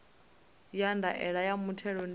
ya ndaela ya muthelo ndi